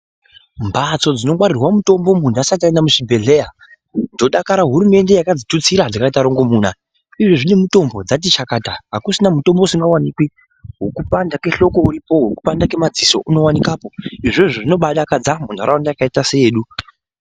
Mbatso dzinogwarire mitombo munhu asati aenda muzvibhehleya ndodakara hurumende yakadzitutsira dzikaite murongomuna izvovi nemitombo dzatichakata akuchina mutombo usisaonekwi wokupanda kwenhloko uripo, wekupanda kwemadziso unowanikapo, izvozvo zvinoba adakadza munharaunda yakaita seyedu.